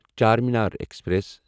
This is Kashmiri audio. چارمینار ایکسپریس